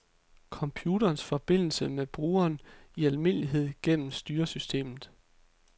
Computerens forbindelse med brugeren, i almindelighed gennem styresystemet.